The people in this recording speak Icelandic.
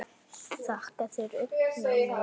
Þakka þér, augna minna ljós.